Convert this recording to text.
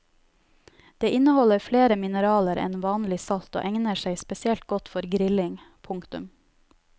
Det inneholder flere mineraler enn vanlig salt og egner seg spesielt godt for grilling. punktum